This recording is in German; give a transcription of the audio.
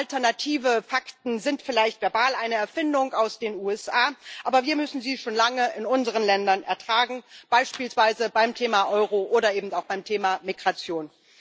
Alternative Fakten sind vielleicht verbal eine Erfindung aus den USA, aber wir müssen sie schon lange in unseren Ländern ertragen, beispielsweise beim Thema Euro oder eben auch beim Thema Migration.